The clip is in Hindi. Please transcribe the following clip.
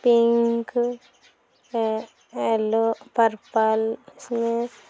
पिंक येलो पर्पल इसमे ---